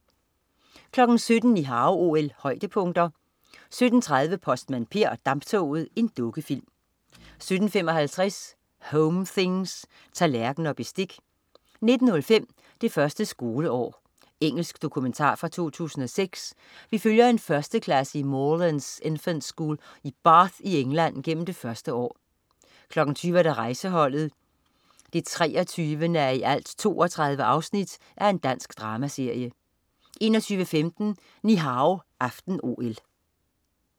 17.00 Ni Hao OL-højdepunkter 17.30 Postmand Per og damptoget. Dukkefilm 17.55 Home things. Tallerken og bestik 19.05 Det første skoleår. Engelsk dokumentar fra 2006. Vi følger en førsteklasse i Moorlands Infant School i Bath i England gennem det første år 20.00 Rejseholdet 23:32. Dansk dramaserie 21.15 Ni Hao aften-OL